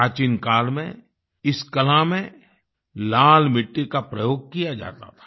प्राचीन काल में इस कला में लाल मिट्टी का प्रयोग किया जाता था